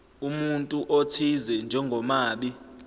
umuntu othize njengomabi